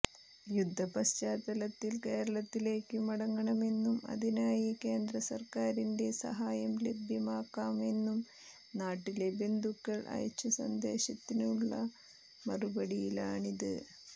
യുദ്ധ പശ്ചാത്തലത്തിൽ കേരളത്തിലേക്കു മടങ്ങണമെന്നും അതിനായി കേന്ദ്ര സർക്കാരിന്റെ സഹായം ലഭ്യമാക്കാമെന്നും നാട്ടിലെ ബന്ധുക്കൾ അയച്ച സന്ദേശത്തിനുള്ള മറുപടിയിലാണിത്